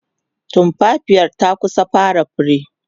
tumfafiyar ta kusa fara fure